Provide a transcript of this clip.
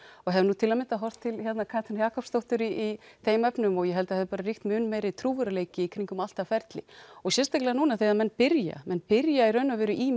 og hefði til að mynda horft til Katrínar Jakobsdóttur í þeim efnum og ég held að það hefði ríkt mun meiri trúverðugleiki í kringum allt það ferli og sérstaklega núna þegar menn byrja menn byrja í raun og veru í